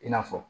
I n'a fɔ